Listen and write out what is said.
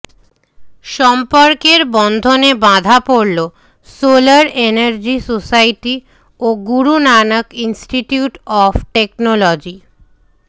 সম্পর্কের বন্ধনে বাঁধা পড়ল সোলার এনার্জি সোসাইটি ও Guru Nanak institute of technology